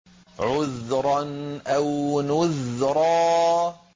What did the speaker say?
عُذْرًا أَوْ نُذْرًا